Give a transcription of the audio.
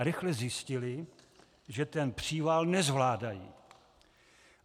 A rychle zjistili, že ten příval nezvládají.